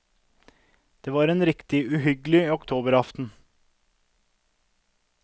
Det var en riktig uhyggelig oktoberaften.